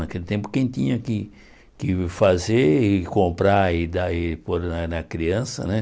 Naquele tempo quem tinha que que fazer e comprar e dar e pôr na na criança, né?